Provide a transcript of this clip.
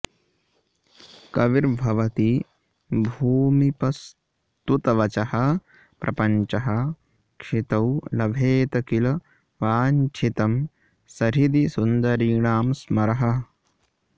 कविर्भवति भूमिपस्तुतवचःप्रपञ्चः क्षितौ लभेत किल वाञ्छितं सहृदि सुन्दरीणां स्मरः